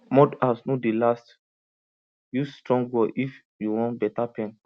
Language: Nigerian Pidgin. mud house no dey last use strong wall if you want better pen